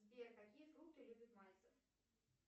сбер какие фрукты любит мальцев